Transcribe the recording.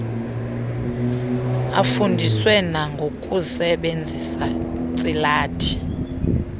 afundiswe nangokusebenzisa ntsilathi